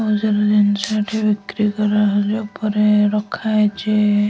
ବହୁତ ସାରା ଜିନିଷ ଏଠି ବିକ୍ରି କରା ହବା ପାଇଁ ଉପରେ ରଖା ହେଇଚି ।